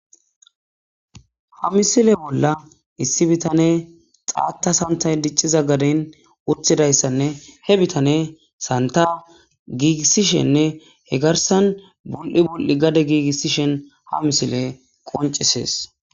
Ha misile bolla issi bitane xaata santa dicciza gaden wuttidayssanne he bitane santa giigissishenne he garsan bul'i bul'i gade giigissishen ha misile qoncisees.